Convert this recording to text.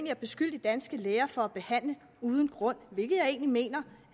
at beskylde de danske læger for at behandle uden grund hvilket jeg egentlig mener